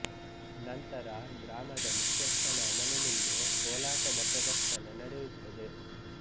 ನಂತರ ಗ್ರಾಮದ ಮುಖ್ಯಸ್ಥನ ಮನೆ ಮುಂದೆ ಕೋಲಾಟದ ಪ್ರದರ್ಶನ ನಡೆಯುತ್ತದೆ